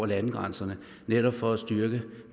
landegrænserne netop for